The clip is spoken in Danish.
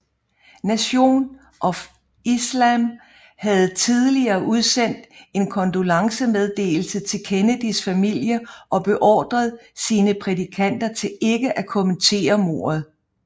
Nation of Islam havde tidligere udsendt en kondolencemeddelelse til Kennedys familie og beordret sine prædikanter til ikke at kommentere mordet